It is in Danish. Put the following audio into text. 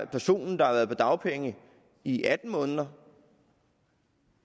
personer der har været på dagpenge i atten måneder